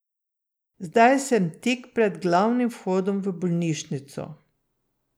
Zdaj sem tik pred glavnim vhodom v bolnišnico.